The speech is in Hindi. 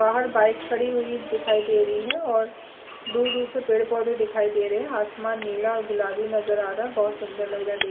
बाहर बाइक खड़ी हुई दिखाई दे रही है और दूर-दूर से पेड़-पौधे दिखाई दे रहे है आसमान नीला और गुलाबी नज़र आ रहा है बहोत सुंदर लग रहा देखने--